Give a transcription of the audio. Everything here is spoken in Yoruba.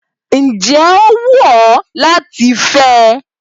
Ǹjẹ́ ó wù ọ́ láti fẹ́ ẹ?